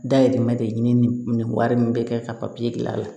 Dahirimɛ de ɲini ni nin wari in bɛ kɛ ka papiye bila a la